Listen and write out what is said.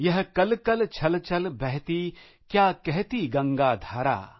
यह कलकल छलछल बहती क्या कहती गंगा धारा